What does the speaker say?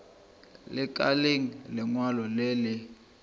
lekaleng le lengwe le le